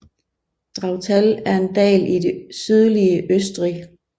Drautal er en dal i det sydlige Østrig